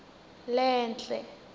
lenhle